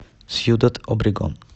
сьюдад обрегон